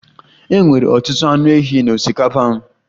E nwere ọtụtụ anụ ehi na osikapa m.